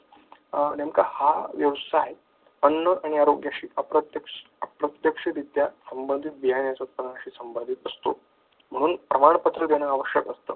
नेमका हा व्यवसाय अण्णा आणि आरोग्य क्षेत्रात प्रत्यक्ष-अप्रत्यक्षरीत्या संबंधित बियाणे शी संबंधित असतो म्हणून प्रमाणपत्र देणे आवश्यक असतं.